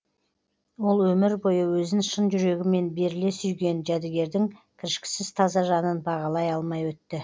ол өмір бойы өзін шын жүрегімен беріле сүйген жәдігердің кіршіксіз таза жанын бағалай алмай өтті